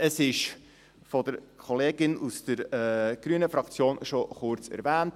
Es wurde von der Kollegin aus der grünen Fraktion schon kurz erwähnt: